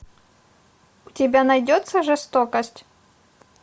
у тебя найдется жестокость